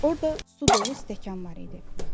Orda su dolu stəkan var idi.